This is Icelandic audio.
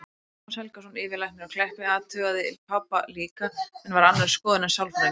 Tómas Helgason, yfirlæknir á Kleppi, athugaði pabba líka en var á annarri skoðun en sálfræðingurinn.